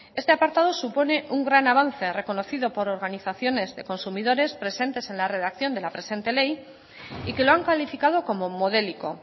este apartado supone un gran avance reconocido por organizaciones de consumidores presentes en la redacción de la presente ley y que lo han calificado como modélico